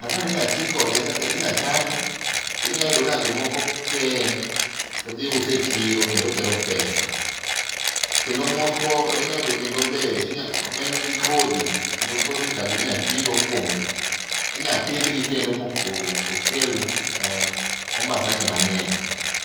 matunda ni inya tii kode kaka, inya chame kendo inya yudo ka jomoko keye todhi use e chiro kendo kelo pesa. Kendo moko inya yudo kendo be, en gi kodhi kendo kodhi ka inya tii go kuom, inya pidhgi kendo mokel ,eeh, ombasa gi mang'eny